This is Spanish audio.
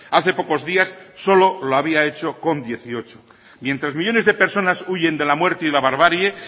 hace pocos días solo lo había hecho con dieciocho mientras millónes de personas huyen de la muerte y de la barbarie